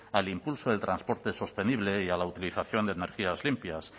al impulso del transporte sostenible y a la utilización de energías limpias